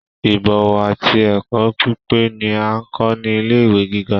Ibọ̀wọ̀ àti ẹkọ pípé ni a n kọ ni ilé ìwé gíga.